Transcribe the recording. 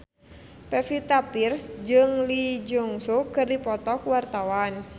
Pevita Pearce jeung Lee Jeong Suk keur dipoto ku wartawan